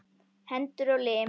Hendur og lim.